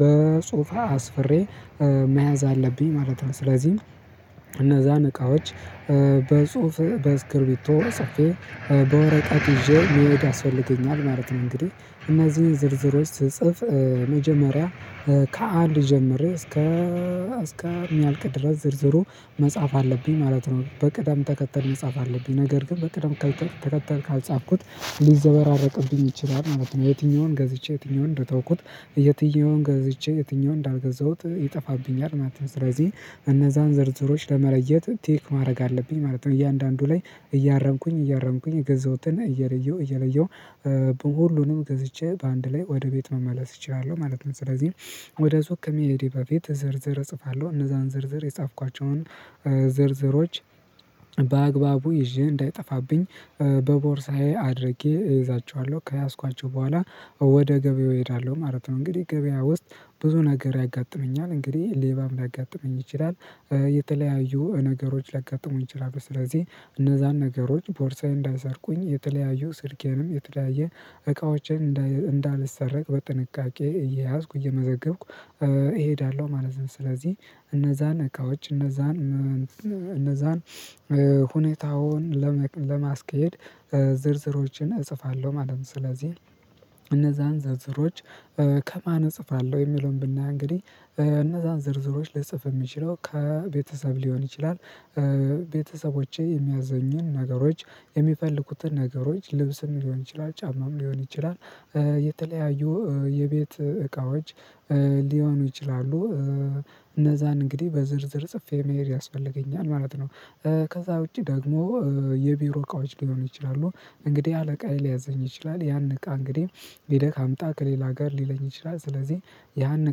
በሶፋ አስፍሬ መያዝ አለብኝ ማለት ነው። ስለዚህም እነዛን እቃዎች በጽሁፍ በስክርቢቶ ሰፊ በወረቀት ይዤ መውደድ አስፈልገኛል ማለት ነው። እንግዲህ እነዚህ ዝርዝሮች ስትጽፍ መጀመሪያ ከአንድ ጀምር እስከ እስከ የሚያልቅ ድረስ ዝርዝሩ መጽሐፍ አለብኝ ማለት ነው። በቅደም ተከተል መጽሐፍ አለብኝ ነገር ግን በቅደም ከተከተልኩ ካልጻፍኩት ሊዘበራረቅብኝ ይችላል ማለት ነው። የትኛውን ገዝቼ የትኛውን እንደተውኩት የትኛውን ገዝቼ የትኛውን እንዳልገዛሁት ይጠፋብኛል ማለት ነው። ስለዚህ እነዛን ዝርዝሮች ለመለየት ቴክ ማድረግ አለብኝ ማለት ነው። እያንዳንዱ ላይ እያረንኩኝ እያረንኩኝ ገዛሁትና እየለየሁ እየለየሁ ሁሉንም ገዝቼ በአንድ ላይ ወደ ቤት መመለስ እችላለሁ ማለት ነው። ስለዚህ ወደ ዙሪያ ከሚሄድ በፊት ዝርዝር እጽፋለሁ እነዛን ዝርዝር የጻፍኳቸውን ዝርዝሮች በአግባቡ ይዤ እንዳይጠፋብኝ በቦርሳዬ አድርጌ እይዛቸዋለሁ ከያዝኳቸው በኋላ ወደ ገበያው እሄዳለሁ ማለት ነው። እንግዲህ ገበያ ውስጥ ብዙ ነገር ያጋጥመኛል እንግዲህ ሌባም ሊያጋጥመኝ ይችላል። የተለያዩ ነገሮች ላጋጥሙን ችራብህ ስለዚህ እነዛን ነገሮች ቦርሳዬን እንዳሰርኩኝ የተለያዩ ስርጌንም የተለያየ እቃዎችን እንዳልሰረቅ በጥንቃቄ እየያዝኩ እየመዘገብኩ እሄዳለሁ ማለት ነው። ስለዚህ እነዛን እቃዎች እነዛን እነዛን ሁኔታውን ለማስኬድ ዝርዝሮችን እጽፋለሁ ማለት ነው። ስለዚህ እነዛን ዝርዝሮች ከማን እጽፋለሁ የሚለውን ብናይ እንግዲህ እነዛን ዝርዝሮች ልጽፍ የምችለው ከቤተሰብ ሊሆን ይችላል። ቤተሰቦቼ የሚያዘኝን ነገሮች የሚፈልኩትን ነገሮች ልብስም ሊሆን ይችላል ጫማም ሊሆን ይችላል የተለያዩ የቤት እቃዎች ሊሆኑ ይችላሉ። እነዛን እንግዲህ በዝርዝር ጽፌ መሄድ ያስፈልገኛል ማለት ነው። ከዛ ውጪ ደግሞ የቢሮ እቃዎች ሊሆን ይችላሉ። እንግዲህ አለቃዬ ሊያዘኝ ይችላል ያን እቃ እንግዲህ ቢደክ አምጣ ከሌላ ጋር ሊለኝ ይችላል ስለዚህ ያን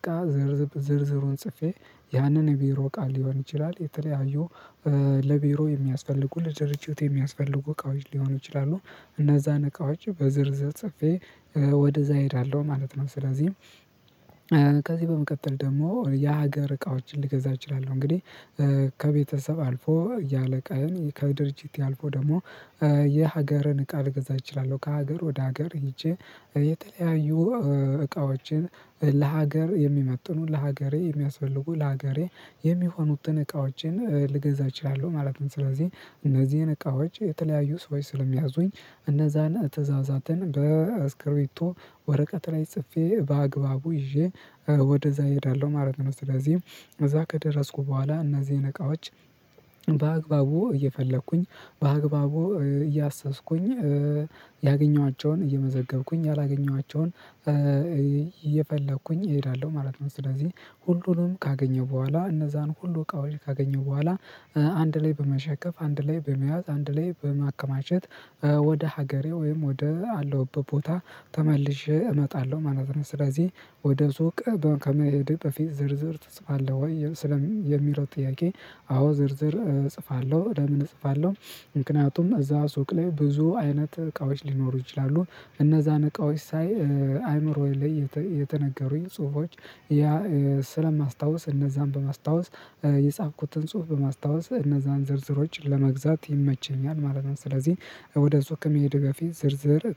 እቃ ዝርዝሩን ጽፌ ያንን የቢሮ ቃል ሊሆን ይችላል። የተለያዩ ለቢሮ የሚያስፈልጉ ለድርጅት የሚያስፈልጉ እቃዎች ሊሆኑ ይችላሉ። እነዛን እቃዎች በዝርዝር ጽፌ ወደዛ እሄዳለሁ ማለት ነው። ስለዚህ ከዚህ በመቀጠል ደግሞ ያ ሀገር እቃዎችን ልገዛ እችላለሁ እንግዲህ ከቤተሰብ አልፎ ያለ ቀን ከድርጅት ያልፎ ደግሞ እቃ ልግዛ እችላለሁ። ከሀገር ወደ ሀገር ሄጄ የተለያዩ እቃዎችን ለሀገር የሚመጥኑትን ለሀገሬ የሚያስፈልጉትን ለሀገሬ የሚሆኑትን እቃዎችን ልገዛ እችላለሁ ማለት ነው። ስለዚህ እነዚህን እቃዎች የተለያዩ ሰዎች ስለሚያዙኝ እነዛን እተዛዛትን በስክሪቶ ወረቀት ላይ ጽፌ በአግባቡ ይዤ ወደዛ እሄዳለሁ ማለት ነው። ስለዚህ እዛ ከደረስኩ በኋላ እነዚህን እቃዎች በአግባቡ እየፈለኩኝ በአግባቡ እያሰስኩኝ ያገኘኋቸውን እየመዘገብኩኝ ያላገኘኋቸውን እየፈለኩኝ እሄዳለሁ ማለት ነው። ስለዚህ ሁሉንም ካገኘው በኋላ እነዛን ሁሉ ቃል ካገኘው በኋላ አንድ ላይ በመሸከፍ አንድ ላይ በመያዝ አንድ ላይ በማከማቸት ወደ ሀገሬ ወይም ወደ አለሁበት ቦታ ተመልሼ እመጣለሁ ማለት ነው። ስለዚህ ወደ ሱቅ ከመሄድ በፊት ዝርዝር ትጽፋለህ ወይ ስለሚሮጥ ጥያቄ? አዎ ዝርዝር እጽፋለሁ ለምን እጽፋለሁ ምክንያቱም እዛ ሱቅ ላይ ብዙ አይነት እቃዎች ሊኖሩ ይችላሉ እነዛን እቃዎች ሳይ አይምሮዬ ላይ የተነገሩኝ ጽሁፎች ያ ስለማስታውስ እነዛን በማስታወስ የጻፍኩትን ጽሁፍ በማስታወስ እነዛን ዝርዝሮች ለመግዛት ይመችኛል ማለት ነው። ስለዚህ ወደዚህ ህክምሄድ በፊት ዝርዝር